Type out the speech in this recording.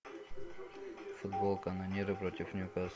футбол канониры против ньюкасл